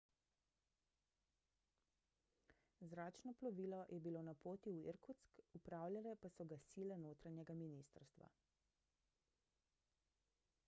zračno plovilo je bilo na poti v irkutsk upravljale pa so ga sile notranjega ministrstva